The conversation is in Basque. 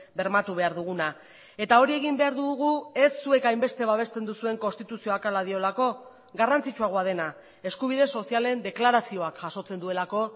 bermatu behar duguna eta hori egin behar dugu ez zuek hainbeste babesten duzuen konstituzioak hala diolako garrantzitsuagoa dena eskubide sozialen deklarazioak jasotzen duelako